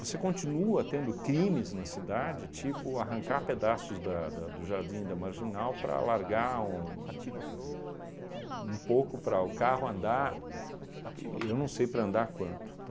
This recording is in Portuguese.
Você continua tendo crimes na cidade, tipo arrancar pedaços da da do jardim da marginal para alargar um um pouco para o carro andar, eu não sei para andar quanto,